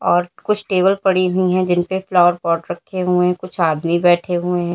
और कुछ टेबल पड़ी हुई है जिनपे फ्लावर पॉट रखे हुए कुछ आदमी बैठे हुए हैं।